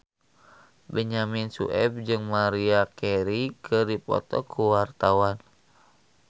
Benyamin Sueb jeung Maria Carey keur dipoto ku wartawan